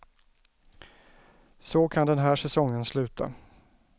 Så kan den här säsongen sluta.